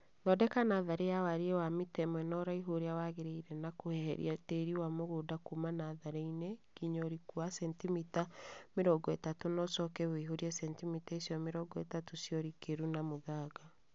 Thondeka natharĩ ya wariĩ wa mita ĩmwe na uraihu ũrĩa wagĩrĩire na kũeheria tĩĩri wa mũgũnda kũũma natharĩ-inĩ nginya ũriku wa centimita mĩrongo ĩtatũ na ũcoke wũihũrie centimita icio mĩrongo ĩtatu cia ũrikĩru na mũthanga